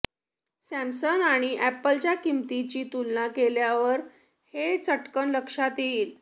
Samsung आणि अॅपलच्या किंमतींची तुलना केल्यावर हे चटकन लक्षात येईल